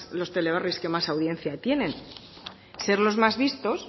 los teleberris que más audiencia tienen ser los más vistos